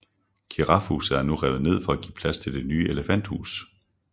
Girafhuset er nu revet ned for at give plads til Det nye elefanthus